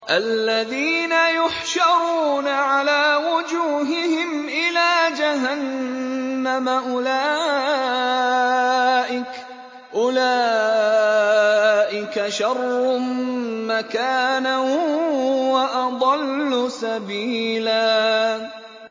الَّذِينَ يُحْشَرُونَ عَلَىٰ وُجُوهِهِمْ إِلَىٰ جَهَنَّمَ أُولَٰئِكَ شَرٌّ مَّكَانًا وَأَضَلُّ سَبِيلًا